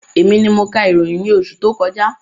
Èmi ni mo ka ìròyìn ní oṣù tó kọjá